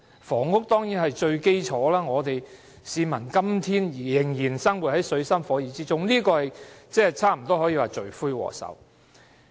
房屋當然是最基礎的問題，市民今天之所以仍然生活在水深火熱之中，房屋差不多可說是罪魁禍首。